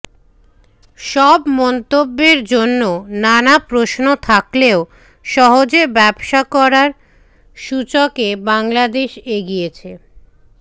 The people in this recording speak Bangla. সব মন্তব্যের জন্য নানা প্রশ্ন থাকলেও সহজে ব্যবসা করার সূচকে বাংলাদেশ এগিয়েছে